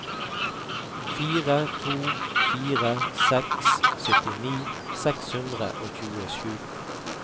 fire to fire seks syttini seks hundre og tjuesju